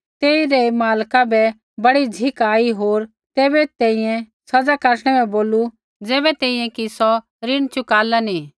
तेइरै मालका बै बड़ी झ़िक आई होर तैबै तैंईंयैं सज़ा काटणै बै बोलू ज़ैबै तैंईंयैं कि सौ ऋण चुकाला नी